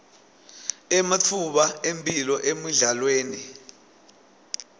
ematfuba emphilo emidlalweni